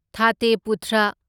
ꯊꯥꯇꯦ ꯄꯨꯊ꯭ꯔ